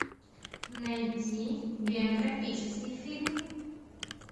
найти биографический фильм